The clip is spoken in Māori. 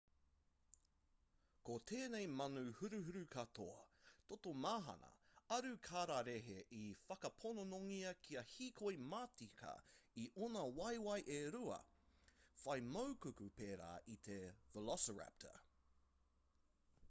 ko tēnei manu huruhuru katoa toto mahana aru kararehe i whakaponongia kia hīkoi matika i ōna waewae e rua whai maikuku pērā i te veloiraptor